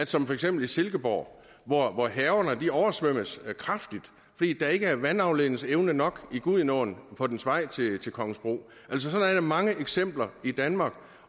som for eksempel i silkeborg hvor haverne oversvømmes kraftigt fordi der ikke er vandafledningsevne nok i gudenåen på dens vej til kongensbro altså sådan er der mange eksempler i danmark